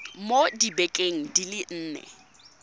mo dibekeng di le nne